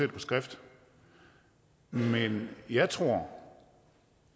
det på skrift men jeg tror